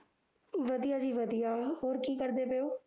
ਵਧੀਆ ਜੀ ਵਧੀਆ ਹੋਰ ਕੀ ਕਰਦੇ ਪਏ ਓ